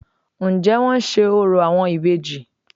Ǹ jé wọ́n n se orò àwọn ìbejì